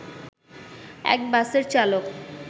এক বাসের চালক